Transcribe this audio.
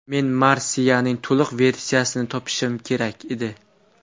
Men marsiyaning to‘liq versiyasini topishim kerak edi.